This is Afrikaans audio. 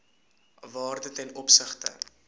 waarde ten opsigte